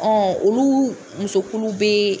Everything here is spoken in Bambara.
olu musokulu bɛ.